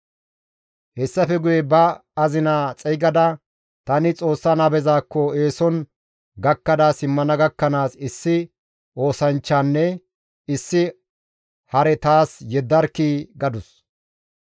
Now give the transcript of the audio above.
Hessafe guye ba azina xeygada, «Tani Xoossa nabezaakko eeson gakkada simmana gakkanaas issi oosanchchanne issi hare taas yeddarkkii!» gadus.